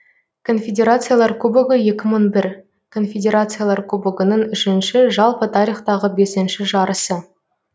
конфедерациялар кубогы екі мың бір конфедерациялар кубогының үшінші жалпы тарихтағы бесінші жарысы